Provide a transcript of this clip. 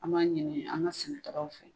An b'a ɲini an ka sɛnɛkɛlaw fɛ